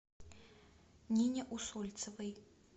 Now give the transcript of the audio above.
нине усольцевой